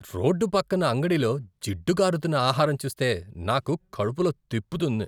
Road పక్కన అంగడిలో జిడ్డు కారుతున్న ఆహారం చూస్తే నాకు కడుపులో తిప్పుతుంది.